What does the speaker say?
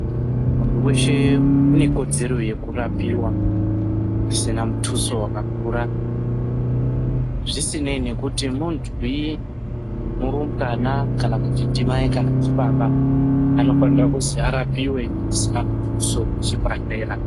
Muntu weshe une kodzero yekurapiwa pasina mutuso wakakura zvisinei nekuti muntuyi murumbwana kana kuti ndimai kana ndibaba vanofanire kuzi arapiwe pasina mutuso kuchibhedhlera.